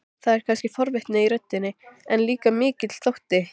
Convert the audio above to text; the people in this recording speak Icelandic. Það er kannski forvitni í röddinni, en líka mikill þótti.